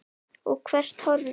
Og hvert horfum við?